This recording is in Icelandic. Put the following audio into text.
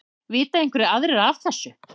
Vita einhverjir aðrir af þessu?